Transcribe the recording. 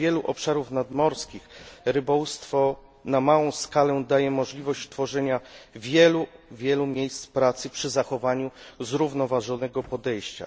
Wielu obszarom nadmorskim rybołówstwo na małą skalę daje możliwość tworzenia wielu, wielu miejsc pracy przy zachowaniu zrównoważonego podejścia.